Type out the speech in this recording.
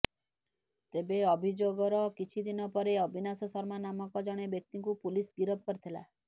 ତେବେ ଅଭିଯୋଗର କିଛି ଦିନ ପରେ ଅବିନାଶ ଶର୍ମା ନାମକ ଜଣେ ବ୍ୟକ୍ତିଙ୍କୁ ପୁଲିସ୍ ଗିରଫ କରିଥିଲା